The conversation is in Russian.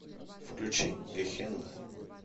включи гехенна